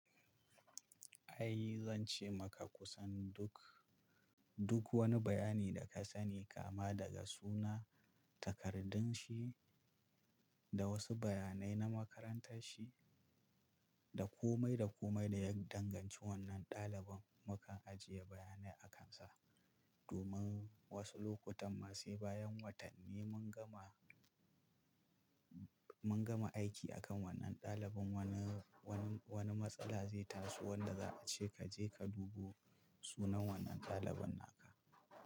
Ai zan ce maka kusan duk, duk wani bayani da ka sani kama daga suna, takardun shi, da wasu bayanai na makarantar shi, da komai da komai da ya danganci wannan ɗaliban, mukan ajiye bayanai a kan sa. Domin wasu lokutan ma sai bayan watanni mun gama, mun gama aiki akan wannan ɗalibin wani, wani, wani matsala zai taso wanda za a ce ka je ka dubo sunan wannan ɗalibin naka.